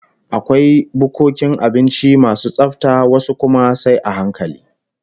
Akwai bukkokin abinci masu tsafta, wasu kuma sai a hankali